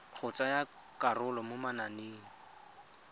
go tsaya karolo mo mananeng